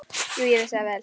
Jú, ég vissi það vel.